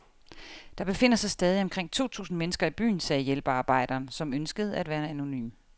Der befinder sig stadig omkring to tusind mennesker i byen, sagde hjælpearbejderen, som ønskede at være anonym.